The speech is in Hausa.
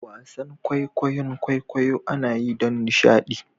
wasan kwaikwayon kwaikwayo anayi don nishadi